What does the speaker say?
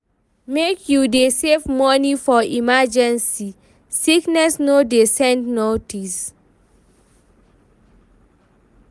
Make you dey save money for emergency, sickness no dey send notice.